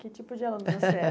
Que tipo de aluno você era?